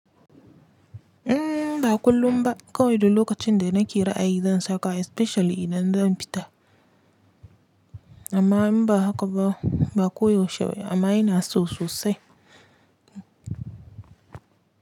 M ba kullum ba kawai duk lokacin da nake ra, ayii zan saka especially idan zan fita amma in ba haka ba ba koyaushe amma ina so sosai.